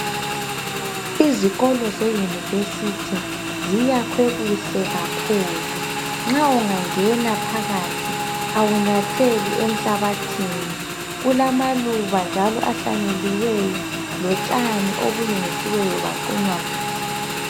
Izikolo zeyunivesithi ziyakhwe kuhle kakhulu. Nxa ungangena phakathi awunyatheli enhlabathini. Kulamaluba njalo ahlanyeliweyo lotshani okulungisiweyo lwaqunywa kuhle.